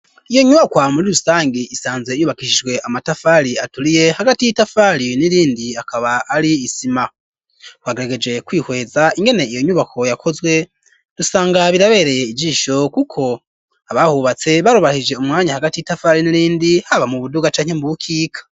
Iyo nyubakwa muri rusange isanzwe yubakishijwe amatafari aturiye hagati y'itafari n'irindi akaba ari isima wagaragaje kwihweza ingene iyo nyubako yakozwe rusanga birabereye ijisho, kuko abahubatse barobahije umwanya hagati y'itafari n'irindi haba mu buduga canke mu bukika.